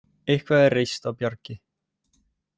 Eitthvað er reist á bjargi